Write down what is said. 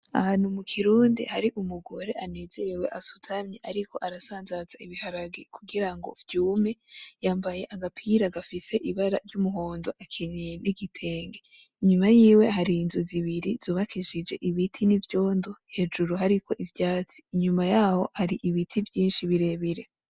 Ahantu mukirundi hari umugore anezerewe asutamye, ariko arasanzaza ibiharage, kugira ngo vyume yambaye agapira gafise Ibara ry'umuhondo akenyeye n'igitenge, nyuma yiwe hari inzu zibiri zubakishije ibiti n'ivyondo hejuru hariko n'ivyatsi, nyuma yaho hari ibiti vyinshi birebire.